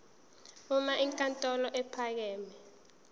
uma inkantolo ephakeme